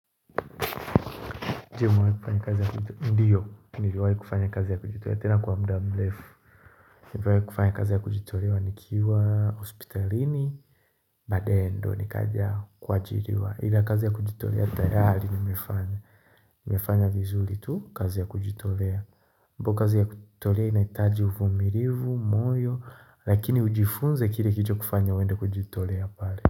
Ndiyo mimi niliwahi kufanya kazi ya kujitolea tena kwa mda mrefu. Niliwahi kufanya kazi ya kujitolea nikiwa hospitalini Baadae ndiyo nikaja kuajiriwa. Ila kazi ya kujitolea tayari nimefanya. Nimefanya vizuri tu kazi ya kujitolea. Kazi ya kujitolea inahitaji uvumilivu, moyo lakini ujifunze kile kilicho kufanya wende kujitolea pale.